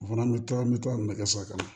O fana bɛ to an bɛ to ka nɛgɛso kɔnɔ